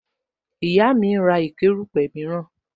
Ìyá mi ń ra ìkó erupe miran